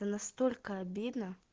настолько обидно